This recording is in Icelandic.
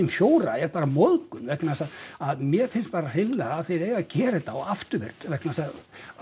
fjóra er bara móðgun vegna þess að mér finnst bara hreinlega að þeir eigi að gera þetta þá afturvirkt vegna þess að